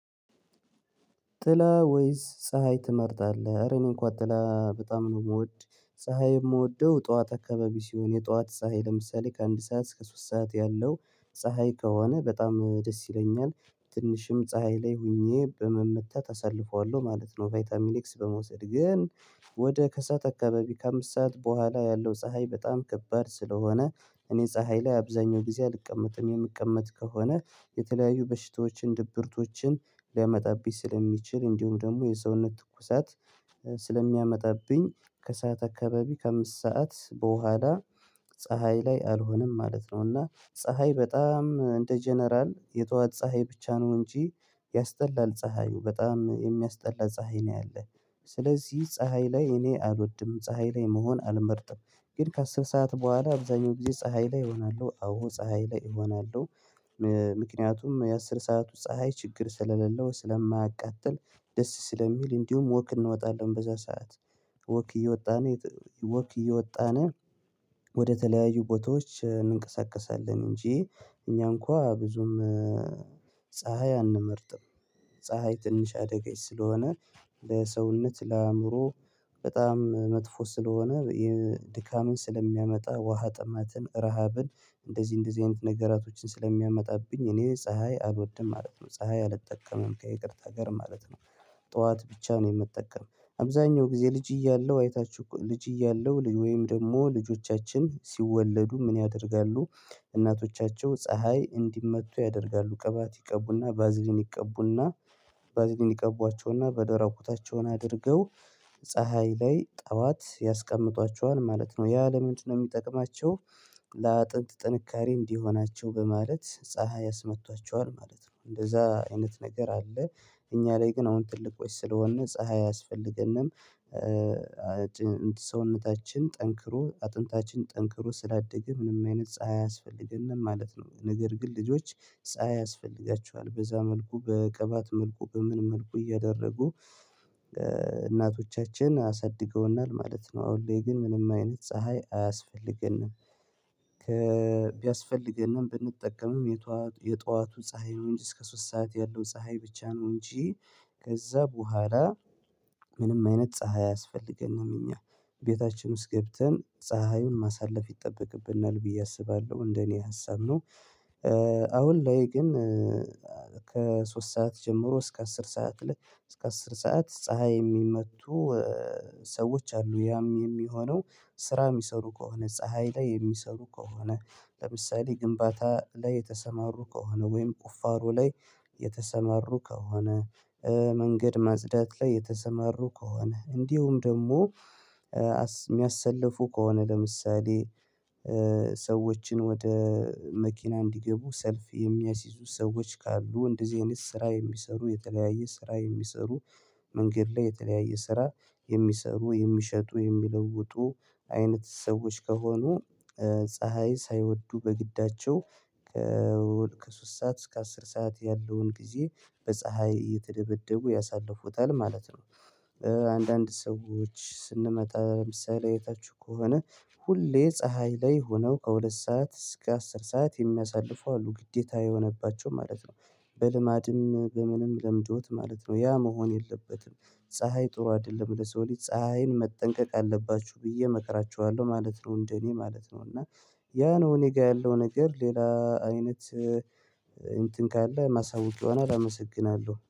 ጥላ ወይስ ፀሀይ ትመርጣለህ? እረ እንኳ ጥላ በጣም ነው የምወድ ፀሀይ የምወደው ጠዋት አካባቢ ሲሆን የጠዋት ፀሀይ ለምሳሌ ከአንድ ሰዓት እስከ ሶስት ሰዓት ያለው ፀሀይ ከሆነ በጣም ደስ ይለኛል ትንሽም ፀሀይ ላይ ሆኜ በመመታት አሳልፈዋለሁ ማለት ነው። ቫይታሚኒክስ በመውሰድ ግን ወደ ከሰአት አካባቢ ከአምስት ሰዓት በኋላ ያለው ፀሀይ በጣም ከባድ ስለሆነ። እኔ ፀሀይ ላይ አብዛኛው ጊዜ አልቀመጥም የምቀመጥ ከሆነ የተለያዩ በሽታዎችን ድብርቶችን ሊያመጣብኝ ስለሚችል እንዲሁም ደግሞ የሰውነት ትኩሳት ስለሚያመጣብኝ ከሰአት አካባቢ ከአምስት ሰዓት በኋላ ፀሀይ ላይ አልሆነም ማለት ነው። እና ፀሀይ በጣም እንደ ጀነራል የጧዋት ፀሀይ ብቻ ነው እንጂ ያስጠላል ፀሀዩ በጣም የሚያስጠላ ፀሀይ ነው ያለው። ስለዚህ ፀሀይ ላይ እኔ አልወድም ፀሀይ ላይ መሆን አልመርጥም ግን ከአስር ሰዓት በኋላ አብዛኛው ጊዜ ፀሀይ ላይ እሆናለሁ አዎ ፀሀይ ላይ እሆናለሁ። ምክንያቱም የአሥር ሰዓት ፀሀይ ችግር ስለሌለው ስለማያቃጥል ደስ ስለሚል እንዲሁም ወክ እንወጣለን በዛ ሰዓት ወክ እየወጣን ወክ እየወጣን ወደተለያዩ ቦታዎች እንንቀሳቀሳለን እንጂ እኛ እንኳን ብዙም ፀሀይ አንመርጥም። ፀሀይ ትንሽ አዳጋች ስለሆነ ለሰውነት ለአእምሮ በጣም መጥፎ ስለሆነ የድካምን ስለሚያመጣ ውሃ ጥማትን ረሃብን እንደዚህ እንደዚህ አይነት ነገራቶችን ስለሚያመጣብኝ እኔ ፀሀይ አልወድም ማለት ነው ፀሀይ አልጠቀምም ከይቅርታ ጋር ማለት ነው። ጠዋት ብቻ ነው የምትጠቀም አብዛኛው ጊዜ ልጅ እያለሁ አይታችሁ እኮ ልጅ እያለሁ ወይም ደግሞ ልጆቻችን ሲወለዱ ምን ያደርጋሉ? እናቶቻቸው ፀሀይ እንዲመቱ ያደርጋሉ ቅባት ይቀቡና ቫዝሊን ይቀቡና ቫዝሊን ይቀቧቸውና በደራቁ ታቸውን አድርገው ላይ ጠዋት ያስቀምጧቸዋል ማለት ነው ያ ለምንድነው የሚጠቅማቸው? ለአጥንት ጥንካሬ እንዲሆናቸው በማለት ፀሀይ ያስመቷቸዋል ማለት ነው እንደዛ አይነት ነገር አለ። እኛ ላይ ግን አሁን ትልቆች ስለሆንን ፀሀይ አያስፈልገንም ሰውነታችን ጠንክሮ አጥንታችን ጠንክሮ ስላደገ ምንም አይነት ፀሀይ አያስፈልገንም ማለት ነው። ነገር ግን ልጆች ፀሀይ ያስፈልጋቸዋል በዛ መልኩ በቅባት መልኩ በምን መልኩ እያደረጉ? እናቶቻችን አሳድገውናል ማለት ነው አሁን ግን ምንም አይነት ፀሀይ አያስፈልግንም። ቢያስፈልግንም ብንጠቀምም የጧዋቱ ፀሀይ ነው እንጂ እስከ ሶስት ሰዓት ያለው ፀሀይ ብቻ ነው እንጂ። ከዛ በኋላ ምንም አይነት ፀሀይ አያስፈልገንም እኛ ቤታችን ውስጥ ገብተን ፀሀዩን ማሳለፍ ይጠበቅብናል ብዬ አስባለሁ እንደኔ ሀሳብ ነው። አሁን ላይ ግን ከሶስት ሰዓት ጀምሮ እስከ አስር ሰዓት ላይ እስከ አስር ሰዓት ፀሀይ የሚመቱ። አሉ ያም የሚሆነው ስራ የሚሰሩ ከሆነ ፀሀይ ላይ የሚሰሩ ከሆነ ለምሳሌ ግንባታ ላይ የተሰማሩ ከሆነ ወይም ቁፋሮ ላይ የተሰማሩ ከሆነ መንገድ ማጽዳት ላይ የተሰማሩ ከሆነ እንዲሁም ደግሞ የሚያሰልፉ ከሆነ ለምሳሌ ሰዎችን ወደ መኪና እንዲገቡ ሰልፍ የሚያሲዙ ሰዎች ካሉ እንደዚህ አይነት ስራ የሚሰሩ የተለያየ ስራ የሚሰሩ መንገድ ላይ የተለያየ ስራ የሚሰሩ የሚሸጡ የሚለውጡ አይነት ሰዎች ከሆኑ ፀሀይ ሳይወዱ በግዳቸው ከሶስት ሰዓት እስከ አስር ሰዓት ያለውን ጊዜ በፀሀይ እየተደበደቡ ያሳልፉታል ማለት ነው። አንዳንድ ሰዎች ስንመጣ ለምሳሌ እየታችሁ ከሆነ ሁሌ ፀሀይ ላይ ሆነው ከሁለት ሰዓት እስከ አስር ሰዓት የሚያሳልፉ አሉ ግዴታ የሆነባቸው ማለት ነው በልማድም በምንም ለምዶት ማለት ነው ያ መሆን የለበትም። ፀሀይ ጥሩ አይደለም ለሰው ልጅ ፀሀይን መጠንቀቅ አለባችሁ ብዬ መከራችኋለሁ ማለት ነው። እንደኔ ማለት ነው እና ያ ነው እኔ ጋር ያለው ነገር ሌላ አይነት እንትን ካለ ማሳወቅ ይሆናል አመሰግናለሁ